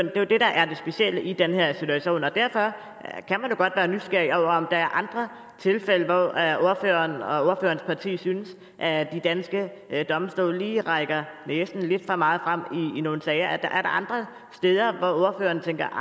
er jo det der er det specielle i den her situation og derfor kan man godt være nysgerrig over om der er andre tilfælde hvor ordføreren og ordførerens parti synes at de danske domstole lige rækker næsen lidt for meget frem i nogle sager er der andre steder hvor ordføreren tænker at